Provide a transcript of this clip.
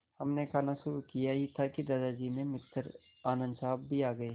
हमने खाना शुरू किया ही था कि दादाजी के मित्र आनन्द साहब भी आ गए